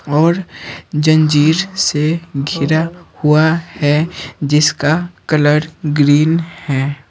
और जंजीर सेघिराहुआ है जिसका कलर ग्रीन है।